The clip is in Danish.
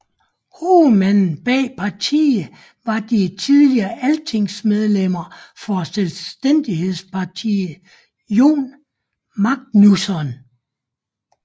Hovedmanden bag partiet var det tidligere altingsmedlem for Selvstændighedspartiet Jón Magnússon